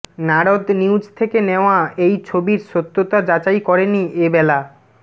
Narad news থেকে নেওয়া এই ছবির সত্যতা যাচাই করেনি এবেলা